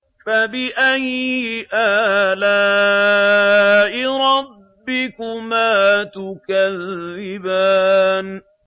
فَبِأَيِّ آلَاءِ رَبِّكُمَا تُكَذِّبَانِ